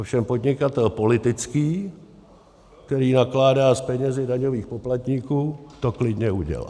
Ovšem podnikatel politický, který nakládá s penězi daňových poplatníků, to klidně udělá.